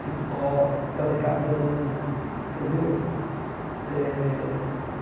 cipó, fazer cabana. Entendeu eh